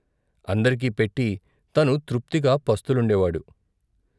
అందరికీ పెట్టి తను తృప్తిగా పస్తులుండేవాడు.